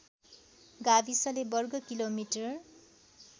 गाविसले वर्ग किलोमिटर